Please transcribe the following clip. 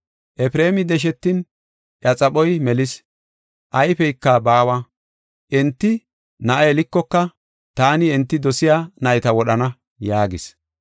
Efreemi deshetin, iya xaphoy melis; ayfeyka baawa. Enti na7a yelikoka taani enti dosiya nayta wodhana” yaagis.